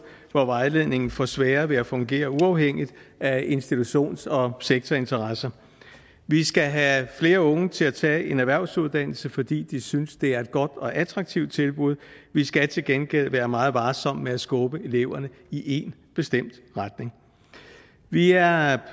hvor vejledningen får sværere ved at fungere uafhængigt af institutions og sektorinteresser vi skal have flere unge til at tage en erhvervsuddannelse fordi de synes det er et godt og attraktivt tilbud vi skal til gengæld være meget varsomme med at skubbe eleverne i én bestemt retning vi er